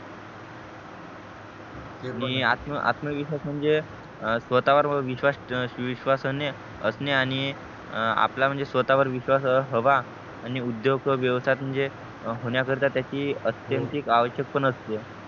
आणि आत्म आत्मविश्वास म्हणजे स्वतः वर विश्वास विश्वासने असणे आणि आपला म्हणजे स्वतः वर विश्वास हवा आणि उद्योग व्यवसाय म्हणजे होण्याकरीता त्याची आत्यन्ति आवश्यक पण असते